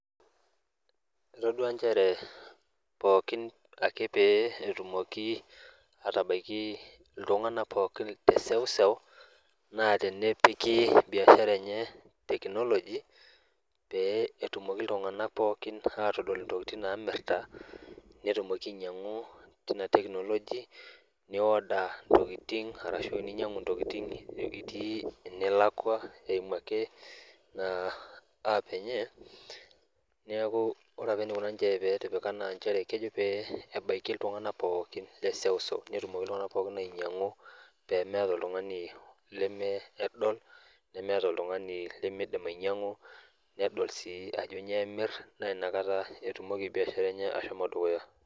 Etoduaa nchere pookin ake pee etumoki atabaiki iltung'ana pooki teseuseu naa tenepiki biashara enye teknoloji pee etumoki iltung'ana pooki atodol intokitin naamirta netumoki ainyang'u teina teknoloji nioda ntokitin arashu ninyang'u ntokitin itii enelakua eimu ake naa app enye neaku ore apa eneikona ninche peetipika naa kejo pee ebaiki iltung'ana pookin leseuseu peetumoki iltung'ana pookin ainyang'u peemeata oltung'ani leme edol nemeata oltung'ani lemeidim ainyang'u nedol sii ajo nyooemirr nainakata etumoki biashara enye ashomo dukuya.